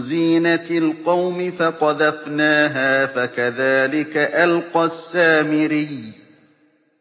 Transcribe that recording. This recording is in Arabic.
زِينَةِ الْقَوْمِ فَقَذَفْنَاهَا فَكَذَٰلِكَ أَلْقَى السَّامِرِيُّ